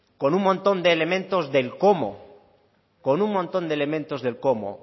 con un montón de elementos del cómo con un montón de elementos del cómo